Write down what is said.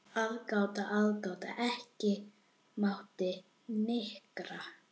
En smám saman birtir upp.